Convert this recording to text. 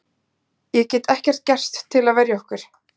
Ég get ekkert gert til að verja okkur.